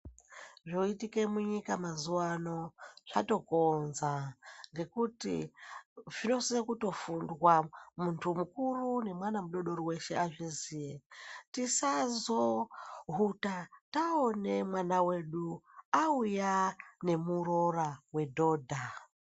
Zvoitike mu nyika mazuva ano zvato konza ngekuti zvino sisa kuto fundwa muntu mukuru ne mwana mudodori weshe azviziye tisazo huta taone mwana wedu auya ne murora we dhodha.